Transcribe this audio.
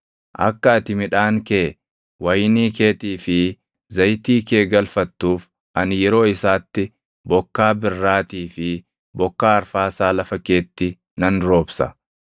akka ati midhaan kee, wayinii keetii fi zayitii kee galfattuuf ani yeroo isaatti bokkaa birraatii fi bokkaa arfaasaa lafa keetti nan roobsa.